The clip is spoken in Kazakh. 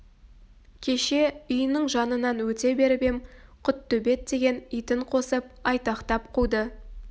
кеше үйінің жанынан өте беріп ем құттөбет деген итін қосып айтақтап қуды